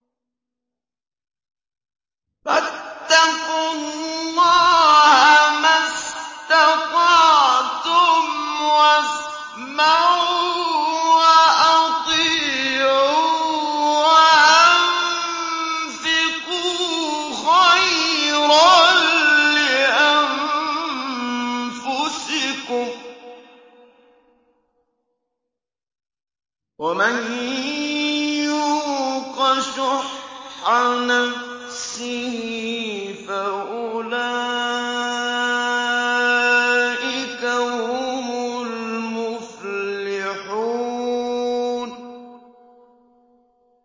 فَاتَّقُوا اللَّهَ مَا اسْتَطَعْتُمْ وَاسْمَعُوا وَأَطِيعُوا وَأَنفِقُوا خَيْرًا لِّأَنفُسِكُمْ ۗ وَمَن يُوقَ شُحَّ نَفْسِهِ فَأُولَٰئِكَ هُمُ الْمُفْلِحُونَ